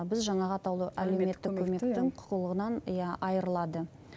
біз жаңағы атаулы әлеуметтік көмектің құқығынан иә айырылады